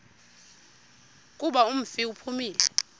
kuba umfi uphumile